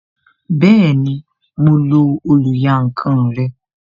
Bẹẹni, mo lo oluyankan rẹ